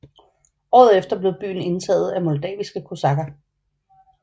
Året efter blev byen indtaget af moldaviske kosakker